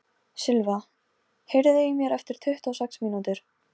Skeytir engu um augu sem góna á hann úr stofunni.